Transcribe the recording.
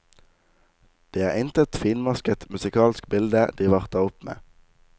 Det er intet finmasket musikalsk bilde de varter opp med.